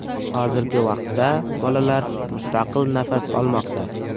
Hozirgi vaqtda bolalar mustaqil nafas olmoqda.